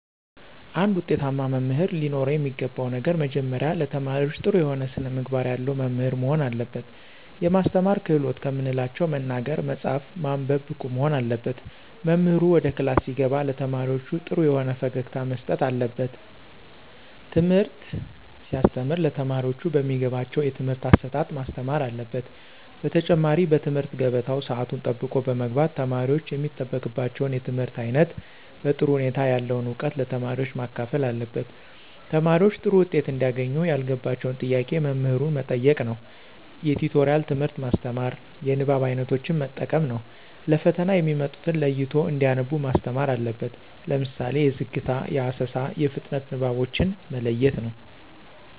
አንድ ውጤታማ መምህር ለኖረው የሚገባው ነገር መጀመሪያ ለተማሪዎች ጥሩ የሆነ ስነምግባር ያለው መምህር መሆን አለበት። የማስተማር ክህሎትን ከምንላቸው መናገር፣ መፃፍ፣ ማንበብ ብቁ መሆን አለበት። መምህሩ ወደ ክላስ ሲገባ ለተማሪዎች ጥሩ የሆነ ፈገግታ መስጠት አለበት። ትምህርት ሲያስተም ለተማሪዎቹ በሚገባቸው የትምህርት አሰጣጥ ማስተማር አለበት። በተጨማሪ በትምህርት ገበታው ሰአቱን ጠብቆ በመግባት ተማሪወች የሚጠበቅባቸውን የትምህርት አይነት በጥሩ ሁኔታ ያለውን እውቀት ለተማሪዎች ማካፈል አለበት። ተማሪዎች ጥሩ ዉጤት እንዲያገኙ ያልገባቸውን ጥያቄ መምህሩ መጠየቅ ነዉ። የቲቶሪያል ትምህርት ማስተማር። የንባብ አይነቶችን መጠቀም ነው። ለፈተና የሚመጡትን ለይቶ እንዲያነቡ ማስተማር አለበት። ለምሳሌ የዝግታ፣ የአሰሳ፣ የፍጥነት ንባቦችን መለየት ነው።